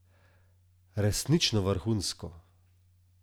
Resnično vrhunsko!